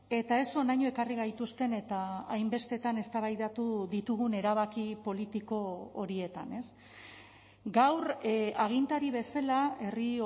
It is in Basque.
eta ez honaino ekarri gaituzten eta hainbestetan eztabaidatu ditugun erabaki politiko horietan gaur agintari bezala herri